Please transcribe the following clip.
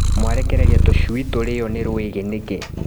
Mwarekereria tũcui tũrĩo nĩ rwĩgĩ nĩkĩ.